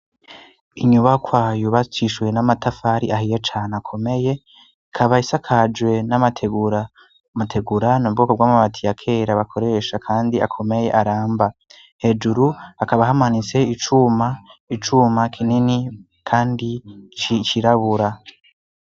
Inyuba kwayu bacishuwe n'amatafari ahiye cane akomeye kabayis akajwe n'amategura mategurano bubwoko bw'amabati ya kera bakoresha, kandi akomeye aramba hejuru akaba ahamanitse icuma icuma kinini, kandi cicirabura.